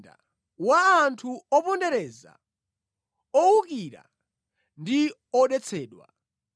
Tsoka kwa mzinda wa anthu opondereza, owukira ndi odetsedwa!